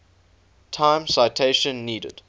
time citation needed